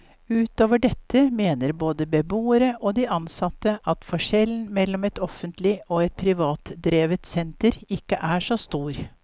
Utover dette mener både beboerne og de ansatte at forskjellen mellom et offentlig og et privatdrevet senter ikke er så stor.